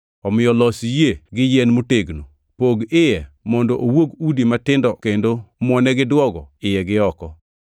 Omiyo los yie gi yien motegno, pog iye mondo owuog udi matindo kendo muone gi duogo, iye gi oko.